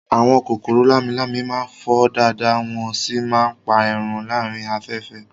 Àwọn kòkòrò lámi-lámi máa ń fò dáadáa wọ́n sì máa ń pa ẹran láàárín afẹ́fẹ́